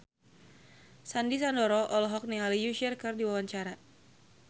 Sandy Sandoro olohok ningali Usher keur diwawancara